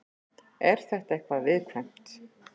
Er þetta eitthvað viðkvæmt?